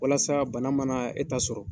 Walasa bana mana e ta sɔrɔ.